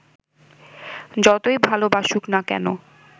যতই ভালবাসুক না কেন